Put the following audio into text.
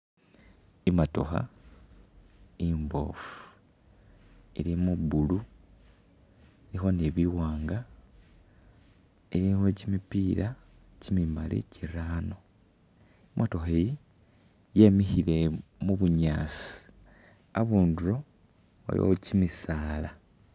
I'motokha imboofu ilimu blue, ilikho ni biwaanga, ilikho kimipiila kimimali kirano. I'motokha iyi yemikhile mu bunyaasi, abundulo waliwo kimisaala.